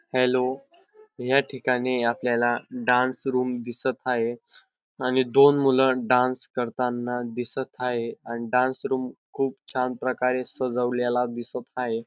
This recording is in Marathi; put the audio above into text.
हॅलो या ठिकाणी आपल्याला डान्स रूम दिसत हाये आणि दोन मुल डान्स करताना दिसत हाये आणि डान्स रूम खूप छान प्रकारे सजवलेला दिसत हाये.